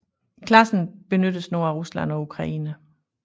Klassen benyttes nu af Rusland og Ukraine